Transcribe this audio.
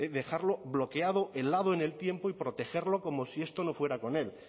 dejarlo bloqueado helado en el tiempo y protegerlo como si esto no fuera con él